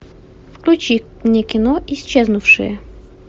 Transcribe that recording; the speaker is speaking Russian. включи мне кино исчезнувшие